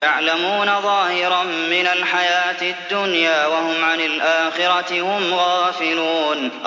يَعْلَمُونَ ظَاهِرًا مِّنَ الْحَيَاةِ الدُّنْيَا وَهُمْ عَنِ الْآخِرَةِ هُمْ غَافِلُونَ